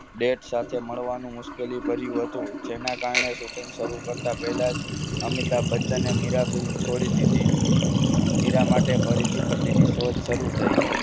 date સાથે મળવાનું મુશ્કેલી ભર્યું હતું જેના કારણે shooting શરૂ કરતા પહેલા જ અમિતાભ બચ્ચનને મીરા film છોડી દીધી મીરા માટે ફરીથી પતિની શોધ શરૂ થઈ.